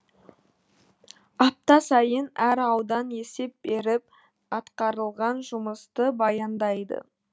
апта сайын әр аудан есеп беріп атқарылған жұмысты баяндайды